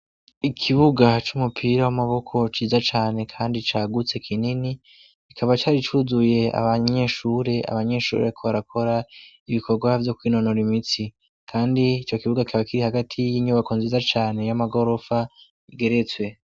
Ikibuga c'umupira w'amaboko ciza cane kandi cagutse kinini kikaba cari cuzuye abanyeshure, abanyeshure bariko barakora ibikorwa vyo kwinonora imitsi, kandi ico kibuga kikaba kiri hagati y'inyubako nziza cane y'amagorofa igeretswe.